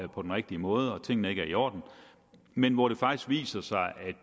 på den rigtige måde og at tingene ikke er i orden men hvor det faktisk viser sig at